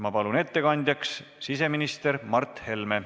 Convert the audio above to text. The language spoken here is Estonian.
Ma palun ettekandjaks siseminister Mart Helme.